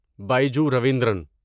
Biju Raveendran